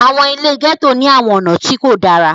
àwọn ile gẹto ni àwọn ọna ti ko dara.